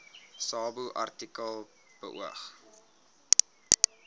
subartikel beoog